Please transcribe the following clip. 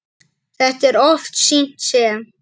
Þetta er oft sýnt sem